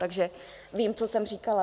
Takže vím, co jsem říkala.